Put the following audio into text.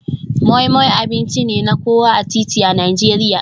Moi Moi abinci ne na kowa a titi a Najeriya.